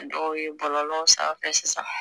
Dɔw ye bɔlɔlɔw sanfɛ sisan